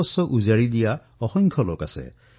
সেৱা ভাৱনাত নিজৰ সকলো সমৰ্পণ কৰি দিয়া লোক অসংখ্য আছে